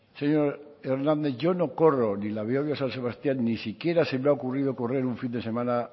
señor hernández yo no corro ni la behobia san sebastián ni siquiera se me ha ocurrido correr un fin de semana